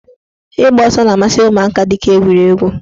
Ịgba ọsọ na-amasị ụmụaka dịka egwuregwu.